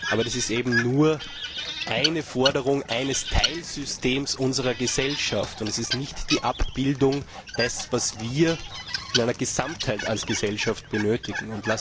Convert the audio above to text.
Aber das ist eben nur eine Forderung eines Teilsystems unserer Gesellschaft, und es ist nicht die Abbildung dessen, was wir in einer Gesellschaft als Gesamtheit benötigen.